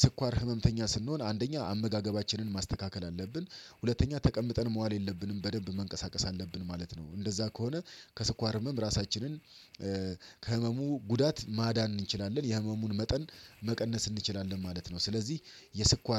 ስኳር ህመምተኛ ስንሆን አንደኛ አመጋገባችንን ማስተካከል አለብን። ሁለተኛ ተቀምጠን መዋል የለብንም በደንብ መንቀሳቀስ አለብን ማለት ነው። እንደዛ ከሆነ ከስኳር ህመም ራሳችንን ከህመሙ ጉዳት ማዳን እንችላለን የህመሙን መጠን መቀነስ እንችላለን ማለት ነው። ስለዚህ የስኳር